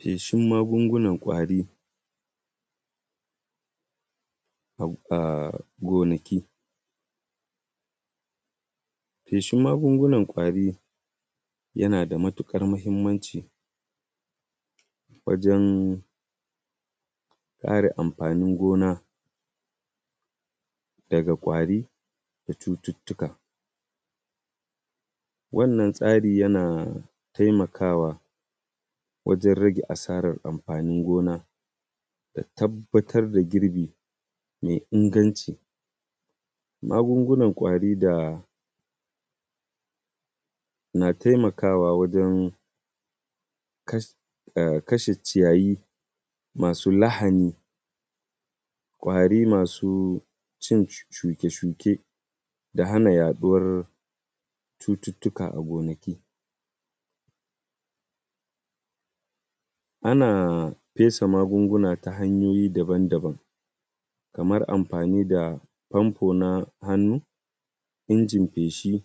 Feshin magungunan ƙwari a gonaki. Feshin magungunan ƙwari yana da matuƙar muhimmanci wajan kare amfanin gona daga ƙwari da cututuka. Wannan tsari yana taimakawa wajan rage asaran amfanin gona da tabbatar da girbi mai inganci. Magungunan ƙwari da na taimakawa wajan kashe ciyayi masu lahani, ƙwari masu cin shuke shuke, da hana yaɗuwar cututuka a gonaki. Ana fesa magunguna ta hanyoyi daban daban kamar amfani da famfo na hannu, injin feshi,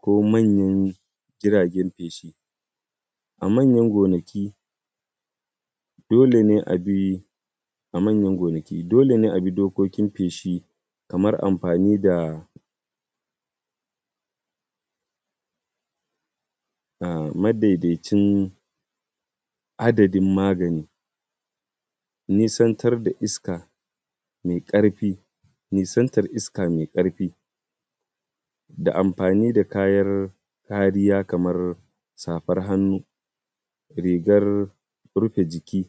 ko manyan girajen feshi. A manyan gonaki dole ne a bi dokokin feshi kaman amfani da madaidaicin adadin magani, nisantar iska mai ƙarfi, nisantar iska mai ƙarfi, da amfani da kayan kariya kaman safar hannu, rigar rufe jiki.